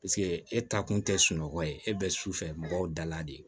Paseke e ta kun tɛ sunɔgɔ ye e bɛ su fɛ mɔgɔw dala de ye